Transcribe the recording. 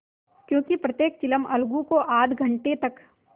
क्योंकि प्रत्येक चिलम अलगू को आध घंटे तक